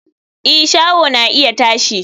i, shaho na iya tashi